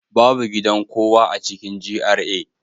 Babu gidan kowa a cikin GRA